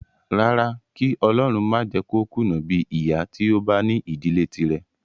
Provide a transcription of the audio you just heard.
Rárá, kí ọlọrun má jẹ kó kùnà bíi ìyá tí ó bá ní ìdílé tírẹ̀.